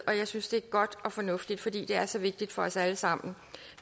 og jeg synes det er godt og fornuftigt fordi det er så vigtigt for os alle sammen